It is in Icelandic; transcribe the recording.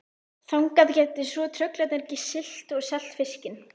Þangað gætu svo trollararnir siglt og selt fiskinn.